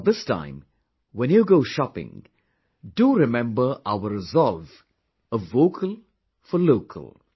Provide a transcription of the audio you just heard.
But this time when you go shopping, do remember our resolve of 'Vocal for Local'